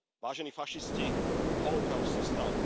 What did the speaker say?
Vážení fašisti, holokaust sa stal.